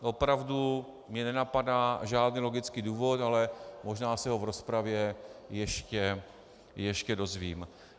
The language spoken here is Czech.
Opravdu mě nenapadá žádný logický důvod, ale možná se ho v rozpravě ještě dozvím.